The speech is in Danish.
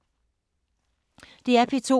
DR P2